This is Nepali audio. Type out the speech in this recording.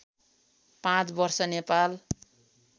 पाँच वर्ष नेपाल